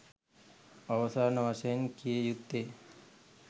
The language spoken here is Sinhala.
අවසාන වශයෙන් කිය යුත්තේ